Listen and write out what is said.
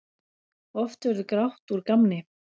Oft verður grátt úr gamni.